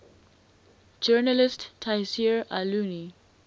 journalist tayseer allouni